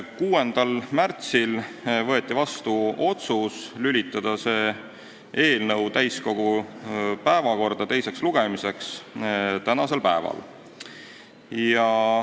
6. märtsil võeti vastu otsus teha ettepanek lülitada selle eelnõu teine lugemine täiskogu tänase istungi päevakorda.